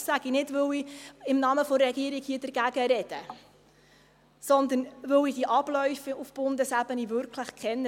Das sage ich nicht, weil ich hier im Namen der Regierung dagegen spreche, sondern weil ich die Abläufe auf Bundesebene wirklich kenne.